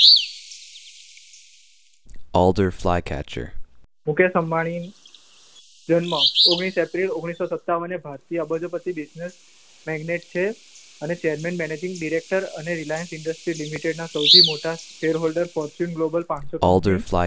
મુકેશ મુઅંબાણી જન્મ ઓગણીશ એપ્રિલ ઓગણીસો સત્તાવને ભારતીય અબોજોપતિ બિજ્નેશ પ્રેગ્નેટ છે. અને ચેરમેન મેનેજીંગ ડિરેક્ટર અને રિલાયન્સ ઇન્ડેસ્ત્રી લિમિટેડમાં સૌથી મોટા ચેરહોલ્ડર પોચ્યુન ગ્લોબલ પાનસો કંપની